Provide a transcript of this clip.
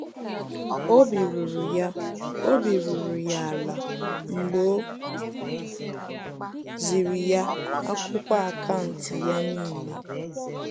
Obi ruru ya Obi ruru ya ala mgbe o ziri ya akwụkwọ akaụntụ ya n'ile